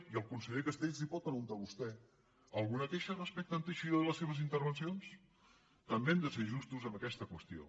i al conseller castells li ho pot pre·guntar vostè alguna queixa respecte a en teixidó i les seves intervencions també hem de ser justos en aquesta qüestió